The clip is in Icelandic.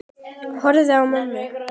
Horfi á mömmu.